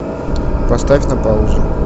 поставь на паузу